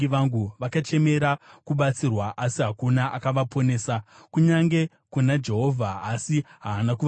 Vakachemera kubatsirwa, asi hakuna akavaponesa, kunyange kuna Jehovha, asi haana kuvapindura.